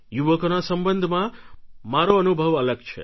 યુવકોના સંબંધમાં મારો અનુભવ અલગ છે